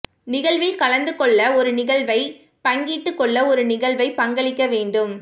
நிகழ்வில் கலந்து கொள்ள ஒரு நிகழ்வைப் பங்கிட்டுக் கொள்ள ஒரு நிகழ்வை பங்களிக்க வேண்டும்